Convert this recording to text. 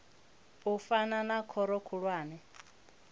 u fana na khoro khulwane